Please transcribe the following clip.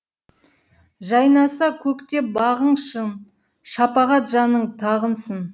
жайнаса көктеп бағың шын шапағат жаның тағынсын